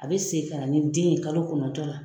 A bɛ segin ka na ni den, ye kalo kɔnɔntɔn la.